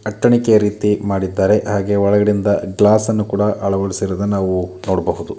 ಅತ್ತೆಣಿಕೆಯ ರೀತಿ ಮಾಡಿದ್ದಾರೆ ಹಾಗೆ ಒಳಗಡೆಯಿಂದ ಗ್ಲಾಸ್ ಅನ್ನು ಕೂಡ ಅಳವಡಿಸಿರುವುದನ್ನ ನಾವು ನೋಡಬಹುದು.